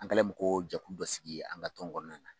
An kɛlen bɛ ko jɛkulu dɔ sigi an ka tɔn kɔnɔna na